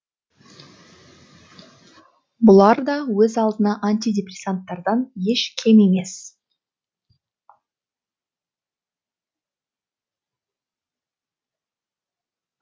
бұлар да өз алдына антидепрессанттардан еш кем емес